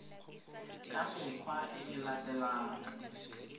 ka mekgwa e e latelang